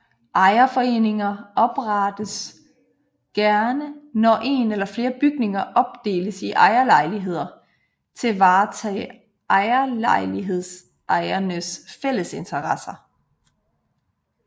Ejerforeninger oprettes gerne når en eller flere bygninger opdeles i ejerlejligheder til at varetage ejerlejlighedsejernes fælles interesser